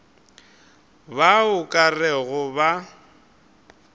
bao o ka rego ba